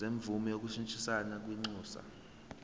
semvume yokushintshisana kwinxusa